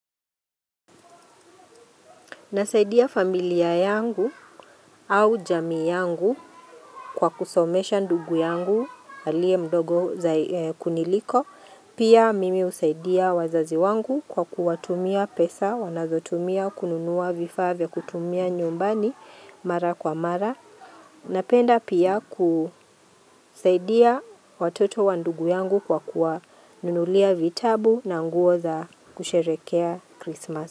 Nasaidia familia yangu au jamii yangu kwa kusomesha ndugu yangu aliye mdogo za kuniliko. Pia mimi husaidia wazazi wangu kwa kuwatumia pesa wanazotumia kununua vifaa vya kutumia nyumbani mara kwa mara. Napenda pia kusaidia watoto wa ndugu yangu kwa kuwanunulia vitabu na nguo za kusherekea Krismas.